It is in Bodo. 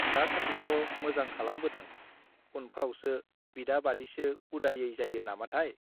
दासान्दिथ मोजां खालामबोदों उनफ्रावसो बिदा बादिसो उदायै जायो नामाथाय